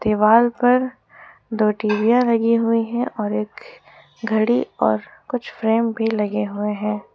दीवाल पर दो टीवीयां लगी हुई है और एक घड़ी और कुछ फ्रेम भी लगे हुए हैं।